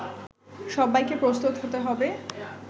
সব্বাইকে প্রস্তুত হতে হবে